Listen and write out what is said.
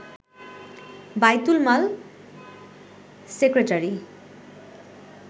বাইতুল মাল সেক্রেটারি